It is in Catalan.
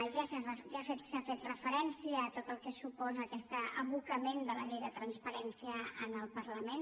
ja s’ha fet referència a tot el que suposa aquest abocament de la llei de transparència al parlament